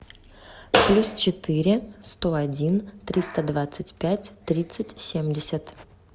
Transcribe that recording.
плюс четыре сто один триста двадцать пять тридцать семьдесят